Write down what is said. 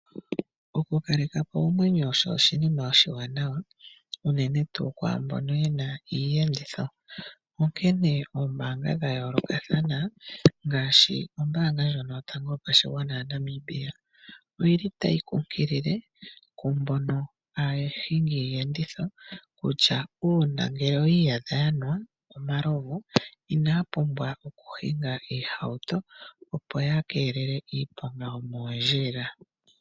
Okukaleka po oomwenyo osho oshinima oshiwanawa unene tuu kwaa mbono ye na iiyenditho, onkene oombaanga dha yoolokathana ngaashi Ombaanga Yotango Yopashigwana moNamibia otayi kunkilile mbono aahingi yiiyenditho kutya ngele oyi iyadha ya nwa omalovu inaya pumbwa okuhinga iihauto, opo ya keelele iiponga yomoondjila.